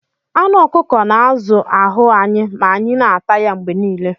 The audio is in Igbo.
Anụ ọkụkọ na-azụ ahụ anyị ma anyị na-ata ya mgbe niile